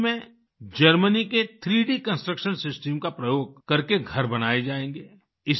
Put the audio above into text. रांची में जर्मनी के 3D construction system का प्रयोग करके घर बनाए जाएंगे